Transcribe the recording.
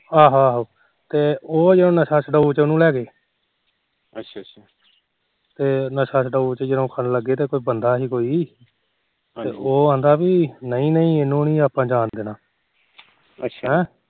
ਤੇ ਉਹ ਜੋ ਨਸ਼ਾ ਛਡਾਓ ਚ ਉਹਨੂੰ ਲੈਗੇ ਨਸ਼ਾ ਛਡਾਓ ਚ ਜਦੋ ਰੱਖਣ ਲੱਗੇ ਤਾ ਬੰਦਾ ਸੀ ਕੋਈ ਉਹ ਆਂਦਾ ਪੀ ਨਈ ਨਈ ਇਹਨੂੰ ਨੀ ਆਪਾ ਜਾਣ ਦੇਣਾ ਅੱਛਾ ਹਮ